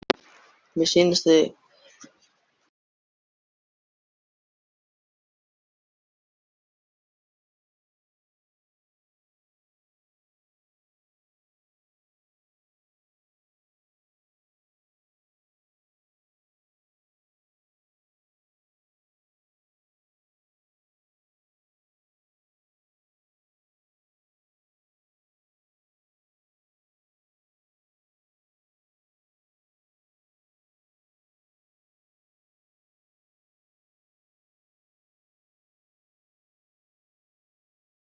Ásdór, hvaða mánaðardagur er í dag?